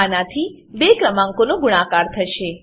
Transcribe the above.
આનાથી બે ક્રમાંકોનો ગુણાકાર થશે